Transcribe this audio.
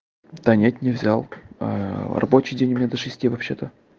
да нет не взял рабочий день у меня до шести вообще-то